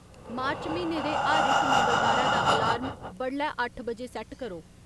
मार्च म्हीने दे हर इक मंगलबारै दा अलार्म बडलै अट्ठ बजे सैट्ट करो